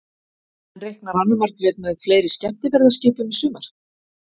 En reiknar Anna Margrét með fleiri skemmtiferðaskipum í sumar?